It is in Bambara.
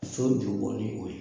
So jubɔ ni o ye